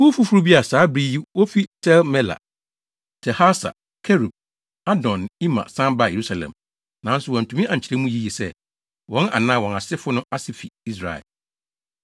Kuw foforo bi a saa bere yi wofi Tel-Melah, Tel-Harsa, Kerub, Adon ne Imer san baa Yerusalem, nanso, wɔantumi ankyerɛ mu yiye sɛ, wɔn anaa wɔn asefo no ase fi Israel: 1